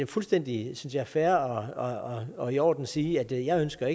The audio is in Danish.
fuldstændig synes jeg fair og og i orden at sige at jeg ikke ønsker